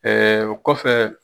o kɔfɛ